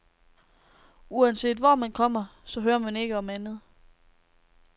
Uanset hvor man kommer, så hører man ikke om andet.